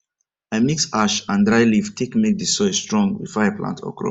i mix ash and dry leaf take make the soil strong before i plant okra